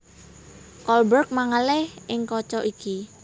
Kolberg mangalih ing kaca iki